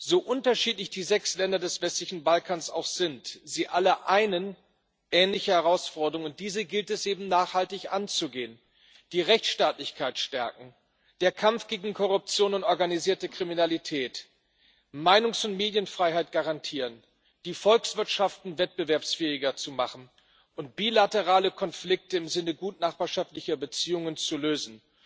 So unterschiedlich die sechs Länder des westlichen Balkans auch sind, sie alle einen ähnliche Herausforderungen. Diese gilt es eben nachhaltig anzugehen die Rechtsstaatlichkeit stärken, der Kampf gegen Korruption und organisierte Kriminalität, Meinungs und Medienfreiheit garantieren, die Volkswirtschaften wettbewerbsfähiger zu machen und bilaterale Konflikt im Sinne gutnachbarschaftlicher Beziehungen zu lösen.